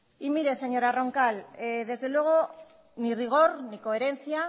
y mire señora roncal desde luego ni rigor ni coherencia